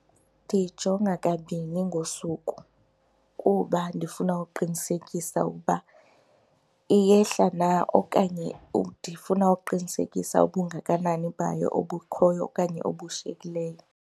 Ndiyijonga kabini ngosuku kuba ndifuna uqinisekisa ukuba iyehla na okanye ndifuna uqinisekisa ubungakanani bayo obukhoyo okanye obushiyekileyo.